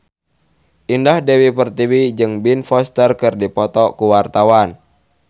Indah Dewi Pertiwi jeung Ben Foster keur dipoto ku wartawan